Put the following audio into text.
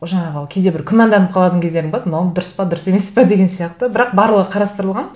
жаңағы кейде бір күмәнданып қалатын кездерім болады мынауым дұрыс па дұрыс емес пе деген сияқты бірақ барлығы қарастырылған